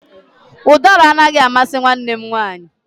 Udara anaghị amasị nwanne m nwanyị